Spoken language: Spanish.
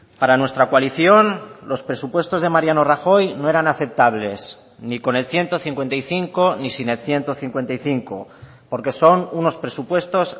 para nuestra coalición los presupuestos de mariano rajoy no eran aceptables ni con el ciento cincuenta y cinco ni sin el ciento cincuenta y cinco porque son unos presupuestos